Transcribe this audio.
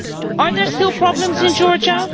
Are there still problems in Georgia?